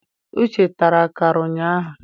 Uche tara akara ụnyaahụ.